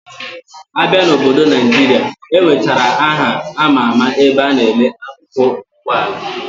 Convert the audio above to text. Abia na obodo Naijira, enwechara aha ama ama ebe ana ele akụkụ Ụgbọ ala